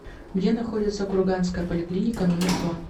где находится курганская поликлиника номер два